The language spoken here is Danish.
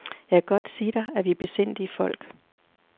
Jeg kan godt sige dig, at vi er besindige folk.